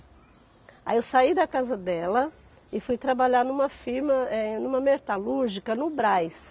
Aí eu saí da casa dela e fui trabalhar numa firma, eh, numa metalúrgica no Brás.